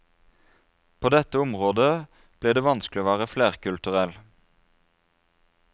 På dette området blir det vanskelig å være flerkulturell.